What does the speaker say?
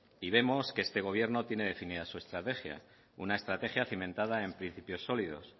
y vemos que este gobierno tiene definida su estrategia una estrategia cimentada en principios sólidos